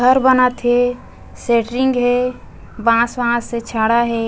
घर बनत हे सेटरिंग हे बाँस-वाँस हे छड़ हे।